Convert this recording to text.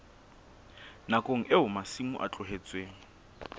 nakong eo masimo a tlohetsweng